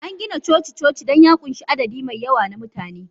An gina coci-coci don ya ƙunshi adadi mai yawa na mutane.